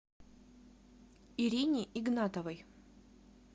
ирине игнатовой